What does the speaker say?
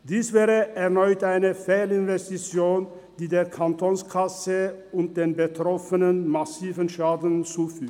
Dies wäre erneut eine Fehlinvestition, die der Kantonskasse und den Betroffenen massiven Schaden zufügte.